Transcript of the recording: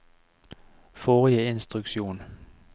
forrige instruksjon